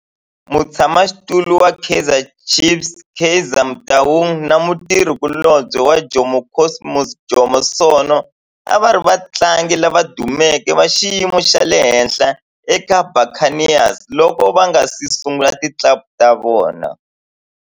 Mutshama xitulu wa Kaizer Chiefs Kaizer Motaung na mutirhi kulobye wa Jomo Cosmos Jomo Sono a va ri vatlangi lava dumeke va xiyimo xa le henhla eka Buccaneers loko va nga si sungula ti club ta vona.